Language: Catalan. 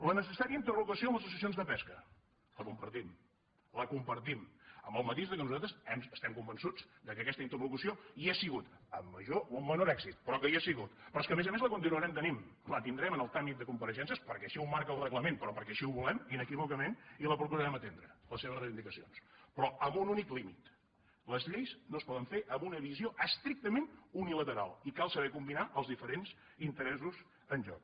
la necessària interrogació amb les associacions de pesca la compartim la compartim amb el matís que nosaltres estem convençuts que aquesta interlocució hi ha sigut amb major o amb menor èxit però que hi ha sigut però a més a més la continuarem tenint la tindrem en el tràmit de compareixences perquè així ho marca el reglament però perquè així ho volen inequívocament i les procurarem atendre les seves reivindicacions però amb un únic límit les lleis no es poden fer amb una visió estrictament unilateral i cal saber combinar els diferents interessos en joc